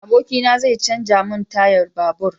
Abokina zai canja mun tayan babur